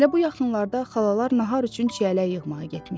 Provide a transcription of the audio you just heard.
Elə bu yaxınlarda xalalar nahar üçün çiyələk yığmağa getmişdilər.